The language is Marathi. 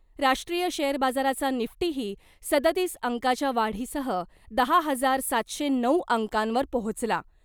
राष्ट्रीय शेयर बाजाराचा निफ्टीही सदतीस अंकाच्या वाढीसह दहा हजार सातशे नऊ अंकांवर पोहोचला .